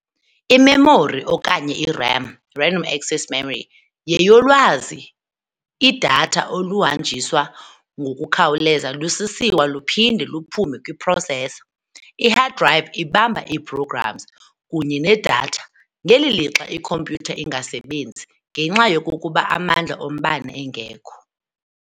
I-memory, okanye i-RAM, random access memory, yeyolwazi lwazi, i-data, oluhanjiswa ngokukhawuleza lusisiwa luphinde luphume kwi-processor. I-hard drive ibamba ii-programs kunye ne-data ngeli lixa ikhompyutha ingasebenzi ngenxa yokokuba amandla ombane engekho.